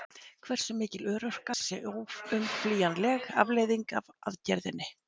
Hversu mikil örorka sé óumflýjanleg afleiðing af aðgerðinni?